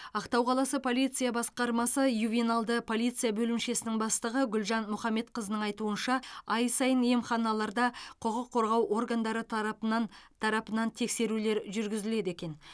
ақтау қаласы полиция басқармасы ювеналды полиция бөлімшесінің бастығы гүлжан мұхамбетқызының айтуынша ай сайын емханаларда құқық қорғау органдары тарапынан тарапынан тексерулер жүргізіледі екен